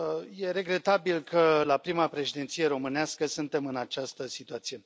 E regretabil că la prima președinție românească suntem în această situație.